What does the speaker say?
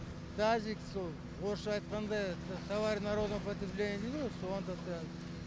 тазик сол орысша айтқанда товарный народный употребление дейді ғо соған тапсырад